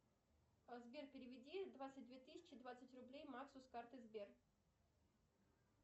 сбер переведи двадцать две тысячи двадцать рублей максу с карты сбер